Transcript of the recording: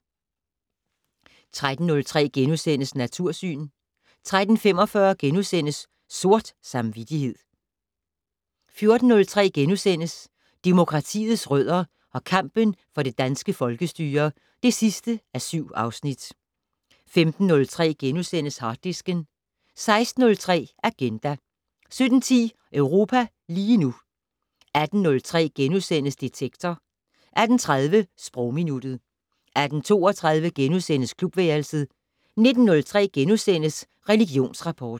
13:03: Natursyn * 13:45: Sort samvittighed * 14:03: Demokratiets rødder og kampen for det danske folkestyre (7:7)* 15:03: Harddisken * 16:03: Agenda 17:10: Europa lige nu 18:03: Detektor * 18:30: Sprogminuttet 18:32: Klubværelset * 19:03: Religionsrapport *